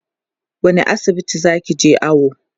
wani asibiti zakije awo?